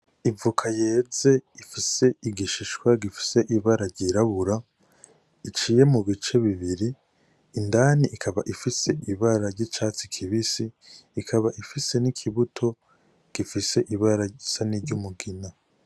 Ivoka yeze ifise igishishwa gifise ibara ryirabura iciye mu bice bibiri indani ikaba ifise ibara ry'icatsi kibisi ikaba ifise n' ikibuto gifise ibara risary'umugina.